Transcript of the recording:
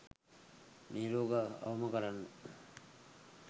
මේ රෝග අවම කරන්න.